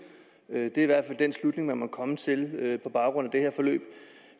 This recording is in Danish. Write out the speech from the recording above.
det er i hvert fald den slutning man må komme til på baggrund af det her forløb